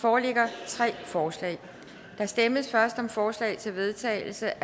foreligger tre forslag der stemmes først om forslag til vedtagelse